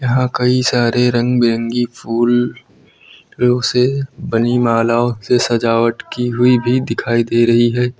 यहाँ कई सारे रंग बिरंगी फूल से बनी मालाओं से सजावट की हुई भी दिखाई दे रही है।